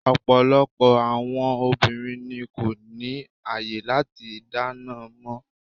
Ọ̀pọ̀lọpọ̀ àwọn obìnrin ni wón kò ní àyè láti dáná mọ́.